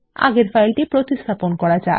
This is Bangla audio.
এখানে ফাইলটি প্রতিস্থাপন করা যাক